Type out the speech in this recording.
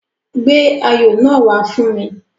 Gbé ayò náà wá fún mi.